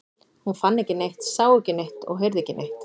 Hún fann ekki neitt, sá ekki neitt og heyrði ekki neitt.